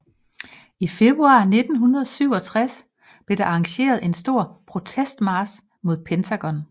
I februar 1967 blev der arrangeret en stor protestmarch mod Pentagon